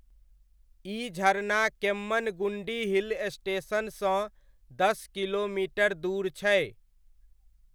ई झरना केम्मनगुण्डी हिल स्टेशनसँ दस किलोमीटर दूर छै।